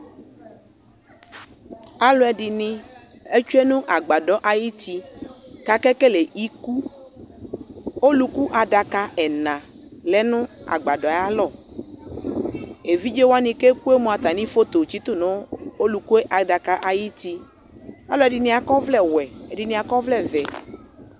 Alʋɛdini atsue nʋ agbadɔ ayʋti kʋ akekele iku Ɔlʋku adaka ɛna lɛ nʋ agbadɔ yɛ ayalɔ Evidze wani kʋ eku moa atami foto tsitʋ nʋ ɔlɔku adaka yɛ ayuti Alʋɛdini akɔ ɔvlɛ wɛ, ɛdini akɔ ɔvlɛ vɛ